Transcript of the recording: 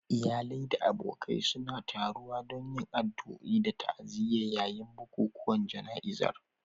Iyalai da abokai suna taruwa don yin addu'o'i da ta'aziyya yayin bukukuwan jana'izar